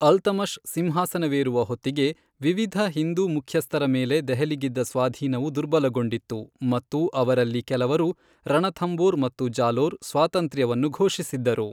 ಅಲ್ತಮಷ್ ಸಿಂಹಾಸನವೇರುವ ಹೊತ್ತಿಗೆ, ವಿವಿಧ ಹಿಂದೂ ಮುಖ್ಯಸ್ಥರ ಮೇಲೆ ದೆಹಲಿಗಿದ್ದ ಸ್ವಾಧೀನವು ದುರ್ಬಲಗೊಂಡಿತ್ತು ಮತ್ತು ಅವರಲ್ಲಿ ಕೆಲವರು ರಣಥಂಭೋರ್ ಮತ್ತು ಜಾಲೋರ್ ಸ್ವಾತಂತ್ರ್ಯವನ್ನು ಘೋಷಿಸಿದ್ದರು.